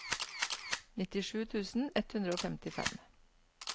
nittisju tusen ett hundre og femtifem